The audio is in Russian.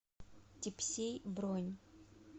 тепсей бронь